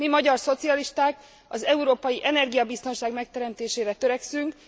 Mi, magyar szocialisták az európai energiabiztonság megteremtésére törekszünk.